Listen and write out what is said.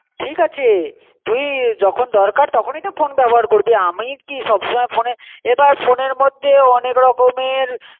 ঠিক আছে তুই যখন দরকার তখন এ তো ফোন বেবহার করবি. আমি কী সবসময় ফোনে এবার ফোনের মধে ও অনেক রকম এর